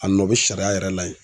A nɔ bɛ sariya yɛrɛ la yen.